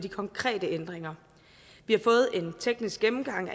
konkrete ændringer vi har fået en teknisk gennemgang